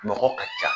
Nɔgɔ ka ca